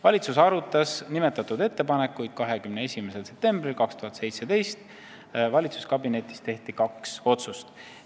Valitsus arutas nimetatud ettepanekuid 21. septembril 2017 ja kabinetis tehti kaks otsust.